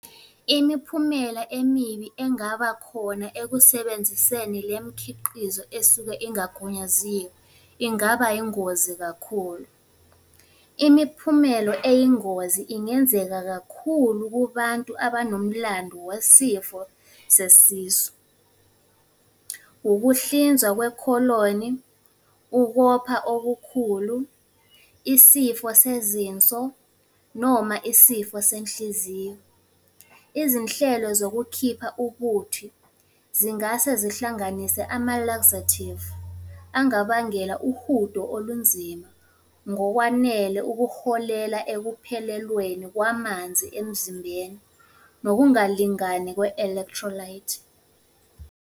Imiphumela emibi engaba khona ekusebenziseni le mikhiqizo esuke ingagunyaziwe, ingaba ingozi kakhulu. Imiphumelo eyingozi ingenzeka kakhulu kubantu abanomlando wesifo sesisu. Ukuhlinzwa kwekholoni, ukopha okukhulu, isifo sezinso, noma isifo senhliziyo. Izinhlelo zokukhipha ubuthi, zingase zihlanganise amalakzathivu, angabangela uhudo olunzima ngokwanele ukuholela ekuphelelweni kwamanzi emzimbeni nokungalingani kwe-electrolyte.